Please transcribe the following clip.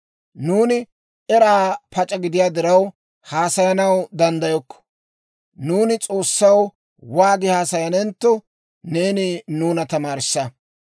Nuuni eraa pac'a gidiyaa diraw haasayanaw danddayokko; nuuni S'oossaw waagi haasayanentto, neeni nuuna tamaarissa.